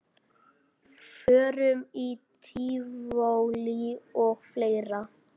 Förum í tívolí og fleira.